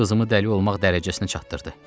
Qızımı dəli olmaq dərəcəsinə çatdırdı.